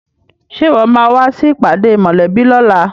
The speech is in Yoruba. Ṣe ìwọ máa wá sí ìpàdé mòlẹ́bí lóla?